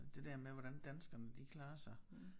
Det der med hvordan danskerne de klarer sig